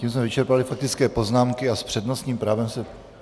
Tím jsme vyčerpali faktické poznámky a s přednostním právem se...